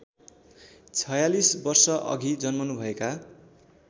४६ वर्षअघि जन्मनुभएका